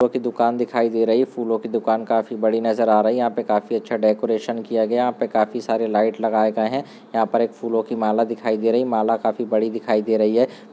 फूलों की दुकान दिखाई दे रही है फूलों की दुकान काफी बड़ी नजर आ रही है यहाँ पर काफी अच्छा डेकोरेसन किया गया है यहाँ पे काफी सारे लाइट लगाए गए है यहाँ पर एक फूलों की माला दिखाई दे रही है माला काफी बड़ी दिखाई दे रही है।